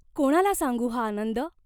कोणाला सांगू हा आनंद ?